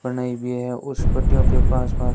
बनाई हुई है उस पट्टियों के पास पास--